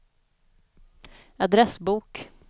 adressbok